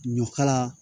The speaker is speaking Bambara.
Ɲɔkala